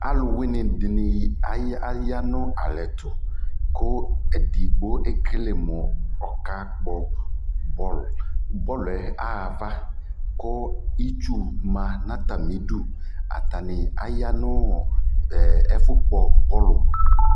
alʋ wini dini aya nʋalɛtʋ kʋ ɛdigbɔ ɛkɛlɛ mʋ ɔka kpɔ ballʋ, ballʋɛ aha aɣa kʋitsu ma nʋ atami idʋ, atami aya nʋ ɛƒʋ gbɔ ballʋ